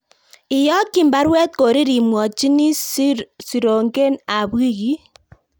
Iyakyin baruet Korir imwachini siiroonken ab wikiit